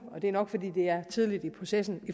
og det er nok fordi det er tidligt i processen